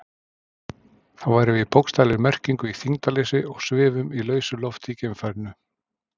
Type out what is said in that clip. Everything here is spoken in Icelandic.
Þá værum við í bókstaflegri merkingu í þyngdarleysi og svifum í lausu lofti í geimfarinu.